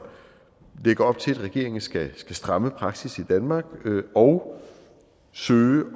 lægger op til at regeringen skal stramme praksis i danmark og søge